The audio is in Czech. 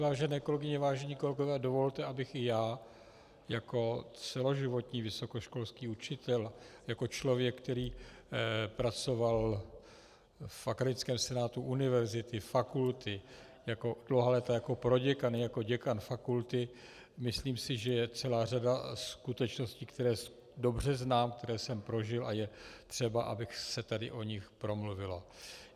Vážené kolegyně, vážení kolegové, dovolte, abych i já jako celoživotní vysokoškolský učitel, jako člověk, který pracoval v akademickém senátu univerzity, fakulty dlouhá léta jako proděkan, jako děkan fakulty - myslím si, že je celá řada skutečností, které dobře znám, které jsem prožil, a je třeba, aby se tady o nich promluvilo.